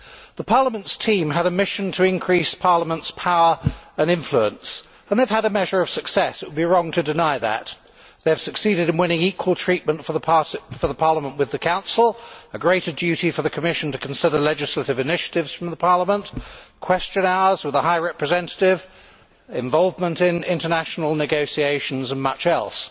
The Parliament's team have a mission to increase Parliament's power and influence, and they have had a measure of success. It would be wrong to deny that. They have succeeded in winning equal treatment of the Parliament with the Council, a greater duty for the Commission to consider legislative initiatives from the Parliament, Question Hours with the High Representative, involvement in international negotiations, and much else.